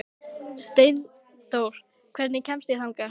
Steindór, hvernig kemst ég þangað?